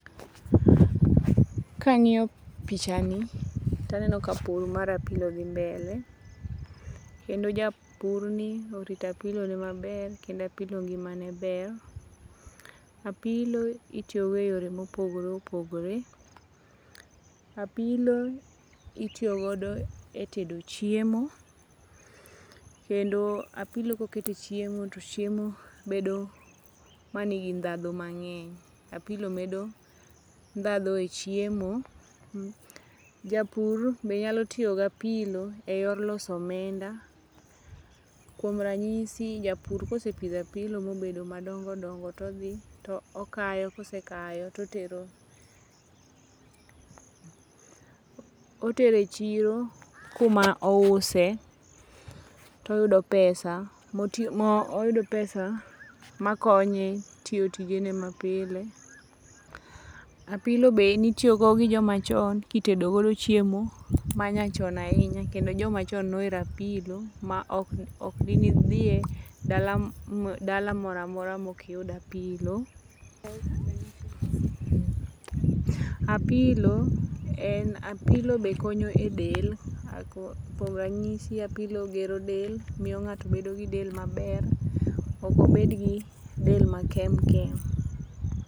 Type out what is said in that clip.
Kangiyo pichani to aneno ka pur mar apilo dhi mbele kendo japurni orito apilone maber kendo apilo ngimane ber. Apilo itiyo go e yore ma opogore opogore. Apilo itiyo godo e tedo chiemo kendo apilo koket e chiemo to chiemo bedo manigi ndhandhu mangeny, apilo medo ndandhu e chiemo. Japur be nyalo tiyo gi apilo e yor loso omenda, kuom ranyisi japur kosepidho apilo mobedo madongo dongo todhi to okayo, kosekayo totero otero e chiro kuma ouse toyudo pesa motiyo, oyudo pesa makonye tiyo tijene mapile. Apilo be nitiyogi gi joma chon kitedo godo chiemo manyachon ahinya kendo jomachon nohero apilo maok ,ok dinidhie dala moro amora maok iyudo apilo. Apilo en, apilo be konyo e del, kuom ranyisi apilo gero del, miyo ngato bedo gi del maber, ok obed gi del makem kem